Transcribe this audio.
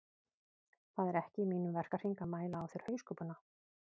Það er ekki í mínum verkahring að mæla á þér hauskúpuna